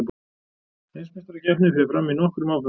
Heimsmeistarakeppnin fer fram í nokkrum áföngum